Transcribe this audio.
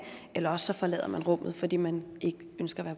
eller også forlader man rummet fordi man ikke ønsker